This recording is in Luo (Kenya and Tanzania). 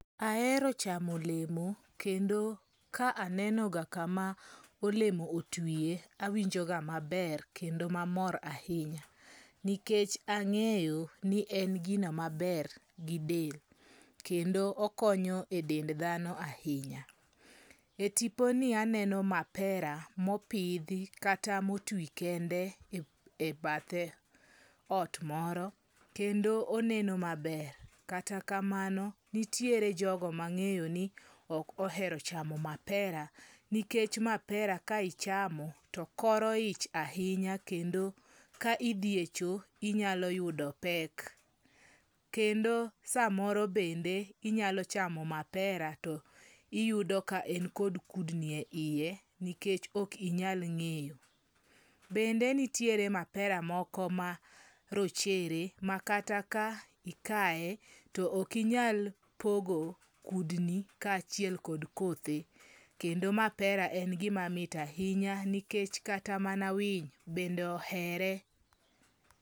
Aero chamolemo kendo ka aneno ga kama olemo otwie, awinjoga maber kendo mamor ahinya. Nikech ang'eyo ni en gino maber gi del, kendo okonyo e dend dhano ahinya. E tiponi aneno mapera mopidhi kata motwi kende e bathe ot moro kendo oneno maber. Kata kamano, nitiere jogo mang'eyo ni ok ohero chamo mapera, nikech mapera ka ichamo to koro ich ahinya. Kendo ka idhi e cho inyalo yudo pek. Kendo samoro bende inyalo chamo mapera to iyudo ka en kod kudni e iye nikech ok inyal ng'eyo. Bende nitiere mapera moko marochere, makata ka ikaye to okinyal pogo kudni kaachiel kod kothe. Kendo mapera en gima mit ahinya nikech kata mana winy bende ohere.